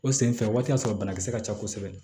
O senfɛ o waati y'a sɔrɔ banakisɛ ka ca kosɛbɛ